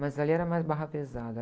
Mas ali era mais barra pesada.